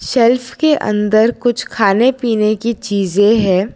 Shelf के अंदर कुछ खाने पीने की चीजें है।